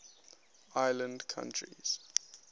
island countries